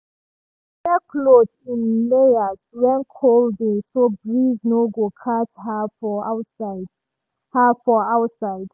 she dey wear cloth in layers when cold dey so breeze no go catch her for outside. her for outside.